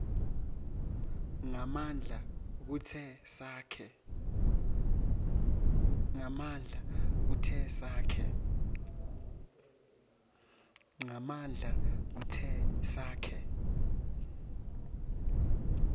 ngemandla kute sakhe